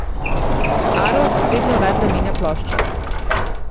Arolf vedno rad zamenja ploščo.